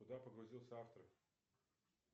куда погрузился автор